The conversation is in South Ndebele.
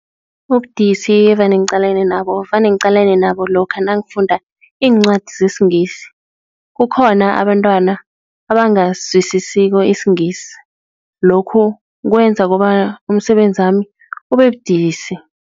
Ubudisi evane ngiqalene nabo vane ngiqalene nabo lokha nangifunda iincwadi lesingisi, kukhona abantwana abangasizwisisiko isingisi, lokhu kwenza kobana umsebenzi wami ubebudisi.